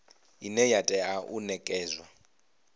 ine ya tea u nekedzwa